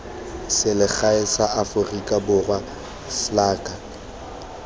selegae la aforika borwa salga